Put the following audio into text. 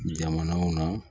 Jamana na